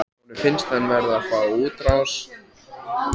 Honum finnst hann verða að fá útrás.